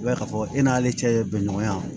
I b'a ye k'a fɔ e n'ale cɛ ye bɛnɲɔgɔnya